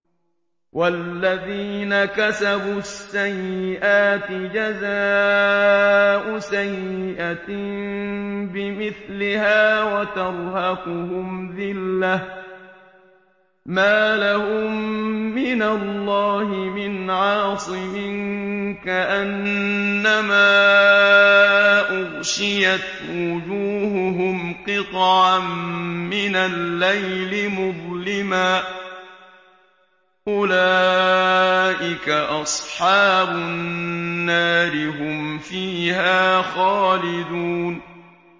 وَالَّذِينَ كَسَبُوا السَّيِّئَاتِ جَزَاءُ سَيِّئَةٍ بِمِثْلِهَا وَتَرْهَقُهُمْ ذِلَّةٌ ۖ مَّا لَهُم مِّنَ اللَّهِ مِنْ عَاصِمٍ ۖ كَأَنَّمَا أُغْشِيَتْ وُجُوهُهُمْ قِطَعًا مِّنَ اللَّيْلِ مُظْلِمًا ۚ أُولَٰئِكَ أَصْحَابُ النَّارِ ۖ هُمْ فِيهَا خَالِدُونَ